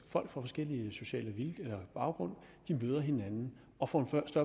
fra forskellige sociale baggrunde møder hinanden og får